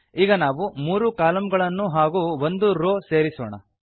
ಈಗ ನಾವು 3 ಕಾಲಂಗಳನ್ನು ಹಾಗೂ 1 ರೋವ್ ಸೇರಿಸೋಣ